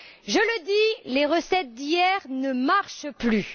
Je le dis les recettes d'hier ne marchent plus!